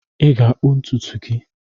Ị ga-akpụ ntutu gị!